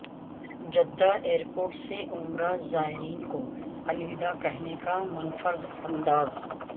Jeddah airport سے عمرہ زائرین کو الوداع کہنے کا منفرد انداز